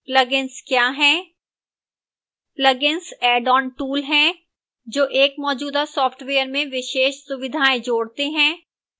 plugins क्या है